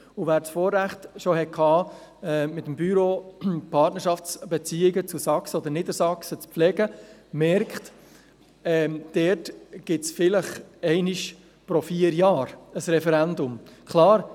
Wer das Vorrecht bereits hatte, mit dem Büro Partnerschaftsbeziehungen zu Sachsen oder Niedersachsen zu pflegen, weiss, dass es dort vielleicht alle vier Jahre einmal ein Referendum gibt.